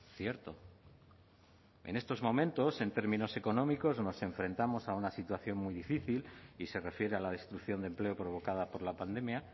cierto en estos momentos en términos económicos nos enfrentamos a una situación muy difícil y se refiere a la destrucción de empleo provocada por la pandemia